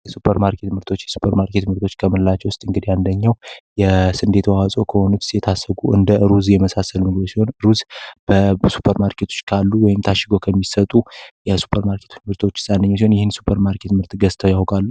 የስፐርማርኬት ምርቶች የሱፐር ማርኬት ምርቶች ከምላቸው ውስጥ እንግድ አንደኛው የስንዴ ተዋጾ ከሆኑብስ የታሸጉ እንደ ሩዝ የመሳሰል ምግብ ሲሆን ሩዝ በሱፐር ማርኬቶች ካሉ ወይም ታሽጎ ከሚሰጡ የሱፐርማርኬቶች ምርቶች አንዱ ሲሆን ይህን ሱፐር ማርኬት ምርት ገዝተው ያውቃሉ።